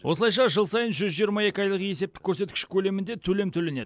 осылайша жыл сайын жүз жиырма екі айлық есептік көрсеткіш көлемінде төлем төленеді